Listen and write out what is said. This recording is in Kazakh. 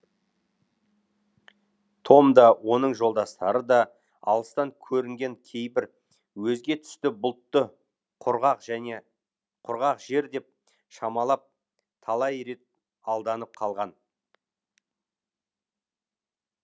том да оның жолдастары да алыстан көрінген кейбір өзге түсті бұлтты құрғақ және құрғақ жер деп шамалап талай рет алданып қалған